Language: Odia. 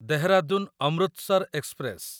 ଦେହରାଦୁନ ଅମୃତସର ଏକ୍ସପ୍ରେସ